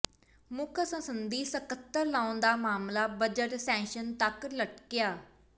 ਮੁੱਖ ਸੰਸਦੀ ਸਕੱਤਰ ਲਾਉਣ ਦਾ ਮਾਮਲਾ ਬਜਟ ਸੈਸ਼ਨ ਤੱਕ ਲਟਕਿਆ